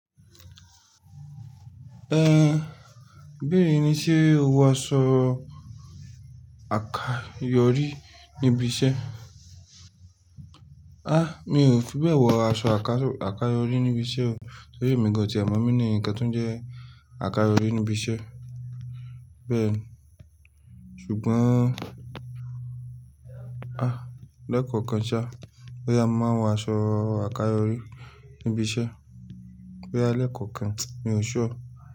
Ẹ̀, bẹ́ẹ̀ni ní ṣe o wọ aṣọ àkáyọrí níbi iṣẹ́? Àh, mi ò fi bẹ́ẹ̀ wọ aṣọ àkáyọrí níbi iṣẹ́ o. Ṣé èmi gan-an ti ẹ̀mọ meaning ǹkan tó jẹ́ àkáyọrí níbi iṣẹ́? Bẹ́ẹ̀ni, ṣùgbọ́n, àh, lẹ́ẹ̀kan kan ṣá, bóyá mo máa ń wọ aṣọ àkáyọrí níbi iṣẹ́. Boya lẹ́ẹ̀kan kan, mi ò ṣure.